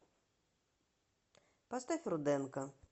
поставь руденко